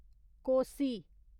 Kosi